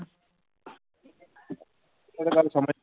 ਇਹ ਤਾਂ ਗੱਲ